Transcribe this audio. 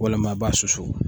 walima i b'a susu.